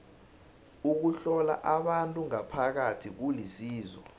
ukuhlola abantu ngaphakathi kulisizo